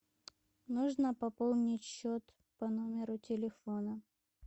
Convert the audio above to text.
нужно пополнить счет по номеру телефона